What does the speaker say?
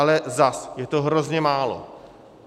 Ale zase - je to hrozně málo.